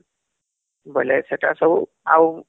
ବୋଲେ ସେଟା ସବୁ ଆଉ